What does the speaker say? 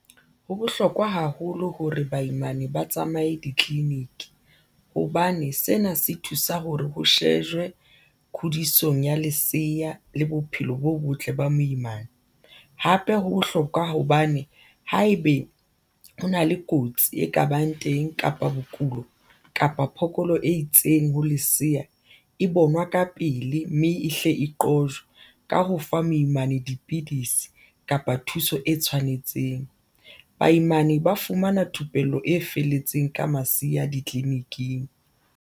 Ho bohlokwa haholo hore baimana ba tsamaye ditleliniki hobane sena se thusa hore ho shejwe kgodisong ya leseya le bophelo bo botle ba moimana hape ho bohlokwa hobane haebe ho na le kotsi e kabang teng kapa bokulo kapa phokolo e itseng ho lesea e bonwa ka pele mme e hle e qojwa ka ho fa moimane dipidisi kapa thuso e tshwanetseng. Baimane ba fumana thupello e felletseng ka masiya ditleliniking.